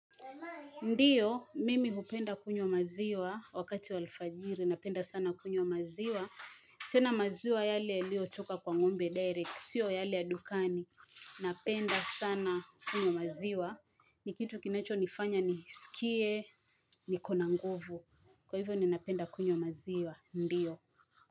Ndiyo, mimi hupenda kunywa maziwa wakati wa alfajiri, napenda sana kunywa maziwa tena maziwa yale yalio toka kwa ng'ombe direct, sio yale ya dukani Napenda sana kunywa maziwa Nikitu kinacho nifanya nisikie, nikona nguvu Kwa hivyo ninapenda kunywa maziwa, ndiyo.